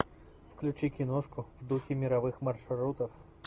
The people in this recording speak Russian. включи киношку в духе мировых маршрутов